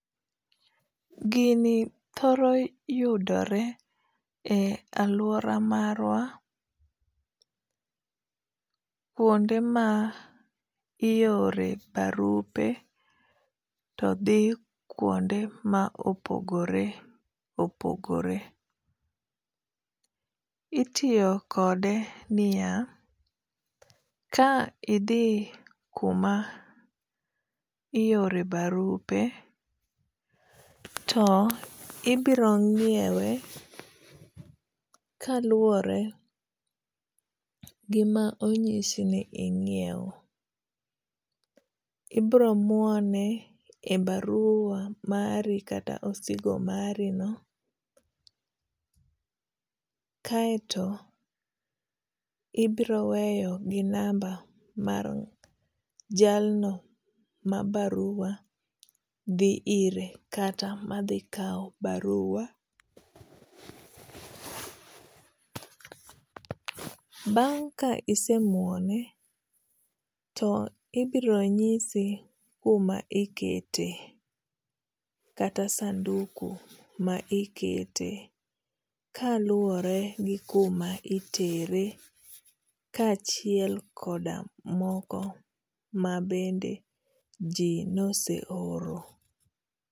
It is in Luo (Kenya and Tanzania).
Gini thoro yudore e aluora marwa kuonde ma iore barupe to dhi kuonde ma opogore opogore. Itiyo kode niya, ka idhi kuma iore barupe, to ibiro ng'iewe kaluwore gi ma onyisi ni ing'iew. Ibiro muone e baruwa mari kata osigo mari no. Kaeto ibiro weyo gi namba mar jalno ma baruwa dhi ire kata madhi kaw baruwa. Bang' ka isemuone to ibiro nisi kuma ikete kata sanduku ma ikete kaluwore gi kuma itere kachiel koda moko mabende ji nose oro.